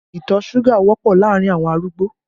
Ìtọ̀ suga wọ́pọ̀ láàrin awọn arúgbó